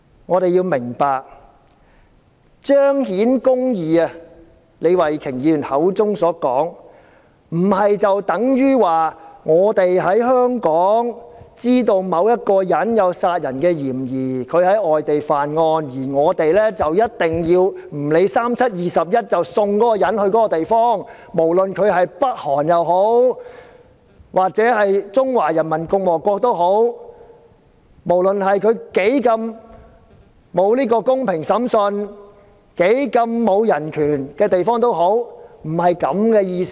我們要明白，要做到李慧琼議員口中所說的"彰顯公義"，並不等於知道香港某人有在外地干犯殺人罪的嫌疑，便"不理三七二十一"，將他送到有關地方，不論是北韓也好、中華人民共和國也好，不論該地方的審訊有多麼不公平、當地的人權受到多大的壓制，並不是這個意思。